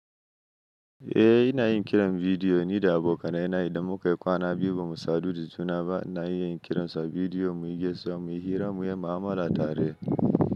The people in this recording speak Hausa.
Eh ina yin kiran bidiyo ni da abokana ina idan muka yi kwana biyu bamu sadu da juna ba. Ina iya yin kiransa bidiyo muyi gaisuwa, mu yi hira, mu yi mu'amala tare.